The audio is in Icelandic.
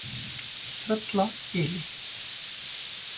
Tröllagili